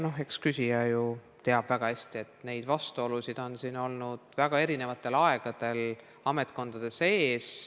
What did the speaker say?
Ja eks küsija tea ju väga hästi, et vastuolusid ametkondade sees on olnud väga erinevatel aegadel.